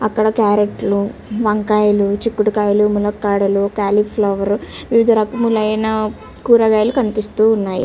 అక్కడ క్యారెట్లు వంకాయలు చిక్కుడుకాయలు మునకాడలు కాలీఫ్లవర్ వివిధ రకములైన కూరగాయలు కనిపిస్తూ ఉన్నాయి.